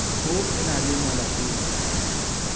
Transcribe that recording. ho e na le malapeng